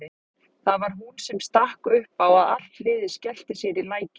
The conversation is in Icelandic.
Það var hún sem stakk upp á að allt liðið skellti sér í lækinn.